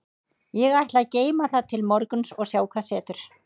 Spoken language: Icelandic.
Ég ætla að geyma það til morguns og sjá hvað setur.